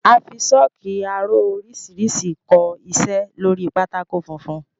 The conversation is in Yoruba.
A fi sọ́ọ́kì aró oríṣiríṣi kọ iṣẹ́ lóri pátákó funfun.